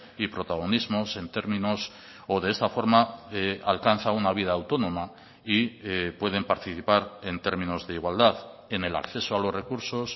y protagonismos en términos o de esta forma alcanza una vida autónoma y pueden participar en términos de igualdad en el acceso a los recursos